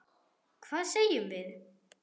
Hvað segjum við?